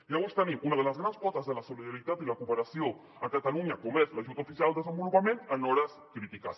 llavors tenim una de les grans potes de la solidaritat i la cooperació a catalunya com és l’ajut oficial al desenvolupament en hores crítiques